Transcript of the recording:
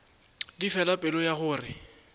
di fela pelo ya gore